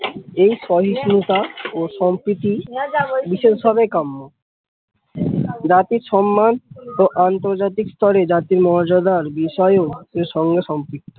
এই সহিস্নুতা ও সাম্প্রতি বিশেষ ভাবে কাম্য জাতির সন্মান ও আন্তর্জাতিক স্তরে জাতির মর্যাদা র বিষয় এর সঙ্গে সম্পিক্ত।